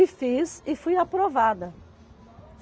E fiz, e fui aprovada.